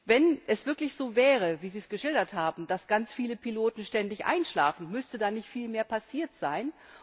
Wenn es wirklich so wäre, wie Sie es geschildert haben, dass ganz viele Piloten ständig einschlafen, müsste dann nicht viel mehr passiert sein?